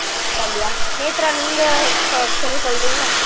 சந்தியா நேத்ரா நீங்க ச கொஞ்சம் சொல்றீங்களா